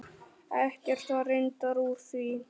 Ekkert var reyndar úr því.